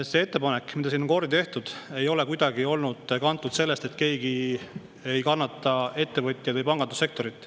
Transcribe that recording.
See ettepanek, mida siin on kordi tehtud, ei ole kuidagi olnud kantud sellest, et keegi ei kannata ettevõtjaid või pangandussektorit.